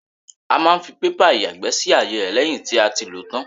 A máa ń fi pépà ìyàgbẹ́ sí àyè rẹ lẹ́yìn tí a ti lòó tán.